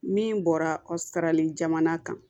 Min bɔra sarali jamana kan